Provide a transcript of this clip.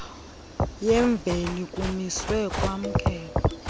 yemveli kumiswe kwamkelwa